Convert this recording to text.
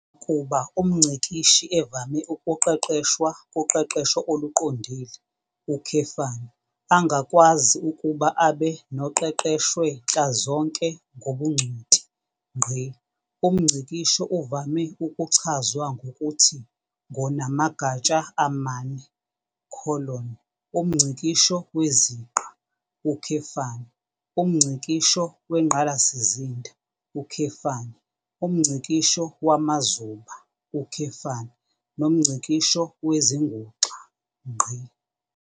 Nakuba umNgcikishi evame ukuqeqeshwa kuqeqesho oluqondile, angakwazi ukuba abe ngoqeqeshwe nhlazonke ngobungcweti. UmNgcikisho uvame ukuchazwa ngokuthi ngonamagatsha amane- umNgcikisho weziQa, umNgcikisho weNgqalasizinda, umNgcikisho wamaZuba, nomNgcikisho weziNguxa.